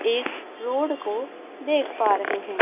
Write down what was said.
एक रोड को देख पा रहे हैं।